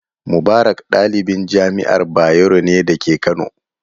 Mubarak ɗalibin jami'ar Bayero ne da ke Kano.